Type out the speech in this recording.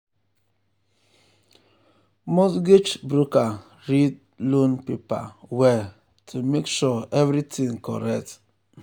mortgage broker read um loan paper well um to make sure everything correct. um